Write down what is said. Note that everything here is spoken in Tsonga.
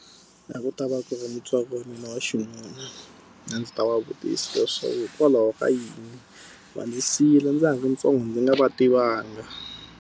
A ku ta va ku va ni mutswari wa mina wa xinuna, a ndzi ta va vutisa leswaku hikokwalaho ka yini va ndzi siyile ndza ha ri ntsongo ndzi nga va tivanga?